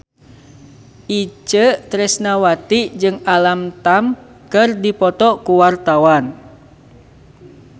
Itje Tresnawati jeung Alam Tam keur dipoto ku wartawan